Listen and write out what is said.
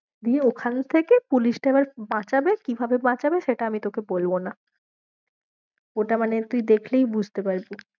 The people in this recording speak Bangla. দিয়ে ওখান থেকে পুলিশটা এবার বাঁচাবে কিভাবে বাঁচাবে সেটা আমি তোকে বলবো ন ওটা মানে তুই দেখলেই বুঝতে পারবি।